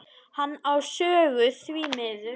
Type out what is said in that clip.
Hann á sögu, því miður.